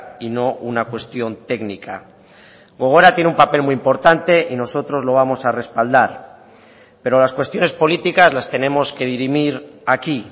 y no una cuestión técnica gogora tiene un papel muy importante y nosotros lo vamos a respaldar pero las cuestiones políticas las tenemos que dirimir aquí